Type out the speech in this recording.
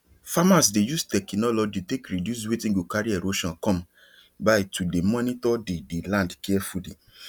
farmers dey use technology take reduce wetin go carry erosion come by to dey monitor the the land carefully